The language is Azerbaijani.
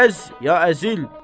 Ya əz, ya əzil!